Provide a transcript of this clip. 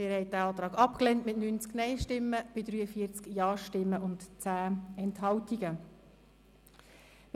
Sie haben den Antrag mit 90 Nein- zu 43 Ja-Stimmen bei 10 Enthaltungen abgelehnt.